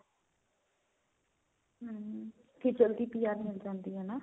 ਠੀਕ ਆ ਅੱਗੇ PR ਮਿਲ ਜਾਂਦੀ ਆ ਨਾ